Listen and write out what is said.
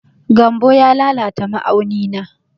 Gambo ya lalata ma'auni na.